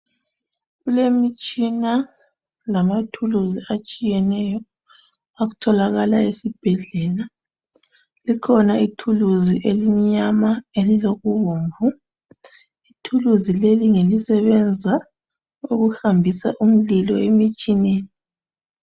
Kulemitshina lamathuluzi atshiyeneyo atholakala esibhedlela, likhona ithuluzi elilokumnyama lokubomvu ithuluzi leli ngelisebenzisa ukuhambisa umlilo emtshineni.